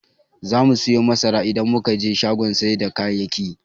Zamu siyo masara idan muka je shagon sai da kayayyaki.